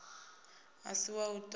a si wa u toda